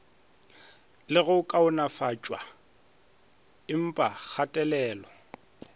le go kaonafatpwa empa kgatelelo